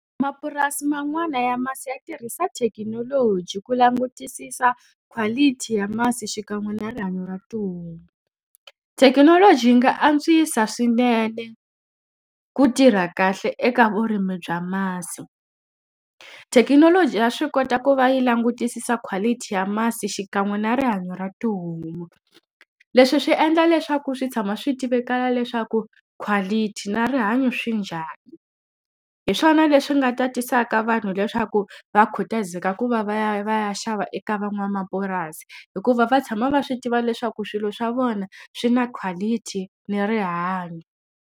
Mapurasi man'wana ya masi ya tirhisa thekinoloji ku langutisisa quality ya masi xikan'we na rihanyo ra tihomu. Thekinoloji yi nga antswisa swinene ku tirha kahle eka vurimi bya masi. Thekinoloji ya swi kota ku va yi langutisisa quality ya masi xikan'we na rihanyo ra tihomu, leswi swi endla leswaku swi tshama swi tivekaka leswaku quality na rihanyo swi njhani. Hi swona leswi nga ta tisaka vanhu leswaku va khutazeka ku va va ya va ya xava eka van'wamapurasi. Hikuva va tshama va swi tiva leswaku swilo swa vona swi na quality ni rihanyo.